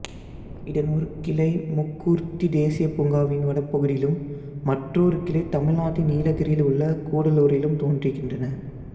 இதன் ஒரு கிளை முக்கூர்த்தி தேசியப்பூங்காவின் வடபகுதியிலும் மற்றோர் கிளை தமிழ்நாட்டின் நீலகிரியில் உள்ள கூடலூரிலும் தோன்றுகின்றன